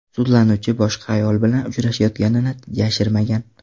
Sudlanuvchi boshqa ayol bilan uchrashayotganini yashirmagan.